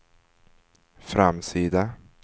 framsida